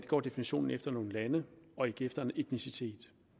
går definitionen efter nogle lande og ikke efter en etnicitet